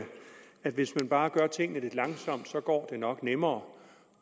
at hvis man bare gør tingene lidt langsomt går det nok nemmere